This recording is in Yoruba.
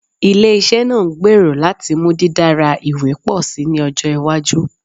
Ile-iṣẹ naa ngbero lati mu didara iwe pọ si ni ọjọ iwaju